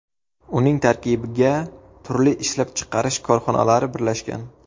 Uning tarkibiga turli ishlab chiqarish korxonalari birlashgan.